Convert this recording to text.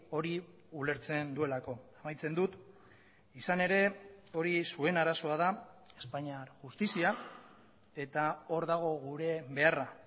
hori ulertzen duelako amaitzen dut izan ere hori zuen arazoa da espainiar justizia eta hor dago gure beharra